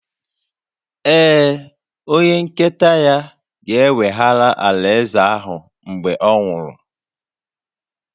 Ee, onye nketa ya ga-eweghara alaeze ahụ mgbe ọ nwụrụ